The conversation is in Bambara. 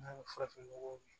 N'a bɛ farafin nɔgɔ min